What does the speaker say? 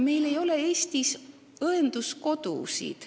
Meil ei ole Eestis õenduskodusid.